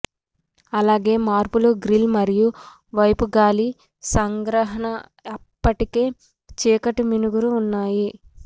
అలాగే మార్పులు గ్రిల్ మరియు వైపు గాలి సంగ్రహణ అప్పటికే చీకటి మిణుగురు ఉన్నాయి